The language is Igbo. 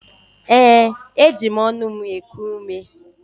Ee, eji m ọnụ m na-eku ume.